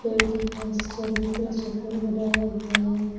पेड़ के पास चबूतरा छप्पर बनाया हुआ है।